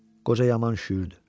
Qoca yaman üşüyürdü.